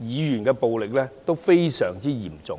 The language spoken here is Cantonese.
言暴力亦非常嚴重。